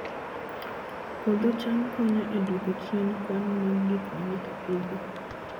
Puodho cham konyo e duoko chien kwan mag gik ma ng'ato Pidhoo